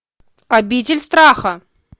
обитель страха